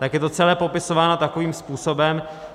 Tak je to celé popisováno takovým způsobem.